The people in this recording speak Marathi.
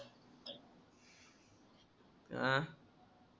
आ